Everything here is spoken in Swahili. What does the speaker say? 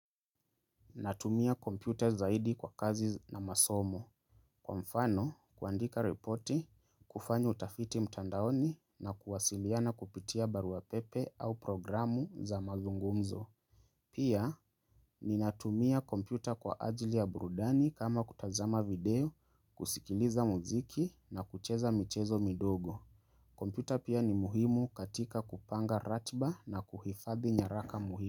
Natumia kompyuta zaidi kwa kazi na masomo. Kwa mfano, kuandika ripoti, kufanya utafiti mtandaoni na kuwasiliana kupitia baruapepe au programu za mazungumzo. Pia, ni natumia kompyuta kwa ajili ya burudani kama kutazama video, kusikiliza muziki na kucheza michezo midogo. Kompyuta pia ni muhimu katika kupanga ratiba na kuhifadhi nyaraka muhimu.